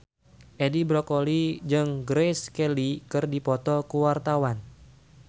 Edi Brokoli jeung Grace Kelly keur dipoto ku wartawan